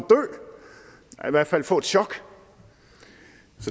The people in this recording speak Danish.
hvert fald få et chok